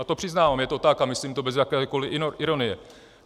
A to přiznávám, je to tak a myslím to bez jakékoliv ironie.